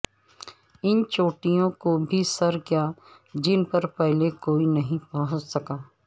ان چوٹیوں کو بھی سر کیا جن پر پہلے کوئی نہیں پہنچ سکا